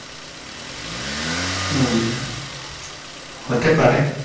হুম হতে পারে।